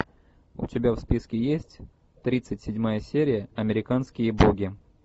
у тебя в списке есть тридцать седьмая серия американские боги